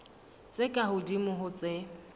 tse ka hodimo ho tse